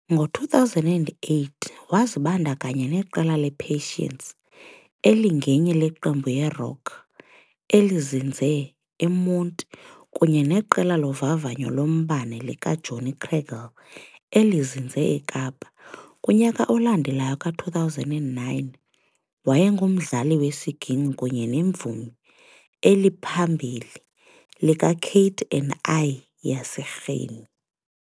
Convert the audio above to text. Ngo-2008, wazibandakanya neqela le-Patience elingenye le qembu yerock elizinze eMonti kunye neqela lovavanyo lombane likaJohnny Cradle elizinze eKapa. Kunyaka olandelayo ka-2009, wayengumdlali wesiginkci kunye nemvumi eliphambili likaKate and I yase Rhini.